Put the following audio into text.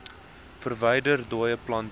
verwyder dooie plante